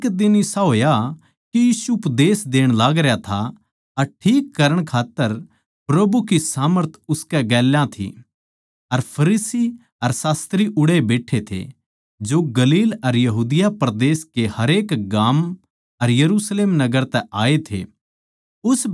एक दिन इसा होया के यीशु उपदेश देण लागरया था अर ठीक करण खात्तर प्रभु की सामर्थ उसकै गेल्या थी अर फरीसी अर शास्त्री उड़ैए बैट्ठे थे जो गलील अर यहूदिया परदेस कै हरेक गाम अर यरुशलेम नगर तै आए थे